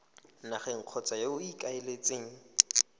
nageng kgotsa yo o ikaeletseng